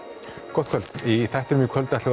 gott kvöld í þættinum í kvöld ætlum